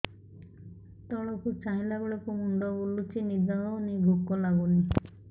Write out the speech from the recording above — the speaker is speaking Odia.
ତଳକୁ ଚାହିଁଲା ବେଳକୁ ମୁଣ୍ଡ ବୁଲୁଚି ନିଦ ହଉନି ଭୁକ ଲାଗୁନି